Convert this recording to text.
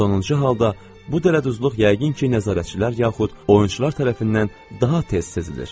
Sonuncu halda bu dələduzluq yəqin ki, nəzarətçilər yaxud oyunçular tərəfindən daha tez sezilir.